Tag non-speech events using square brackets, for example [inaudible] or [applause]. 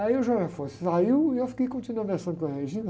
Aí o [unintelligible] saiu e eu fiquei, continuei conversando com a. [unintelligible]